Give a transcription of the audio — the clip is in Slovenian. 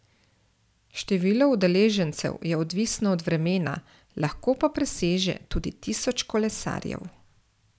Število udeležencev je odvisno od vremena, lahko pa preseže tudi tisoč kolesarjev.